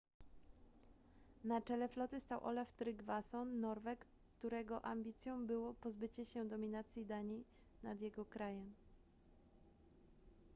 na czele floty stał olaf trygvasson norweg którego ambicją było pozbycie się dominacji danii nad jego krajem